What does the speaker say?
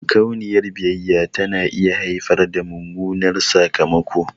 Makauniyar biyayya tana iya haifar da mummunan sakamako.